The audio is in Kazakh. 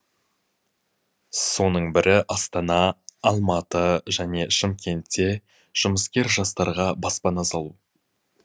соның бірі астана алматы және шымкентте жұмыскер жастарға баспана салу